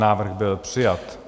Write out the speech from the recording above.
Návrh byl přijat.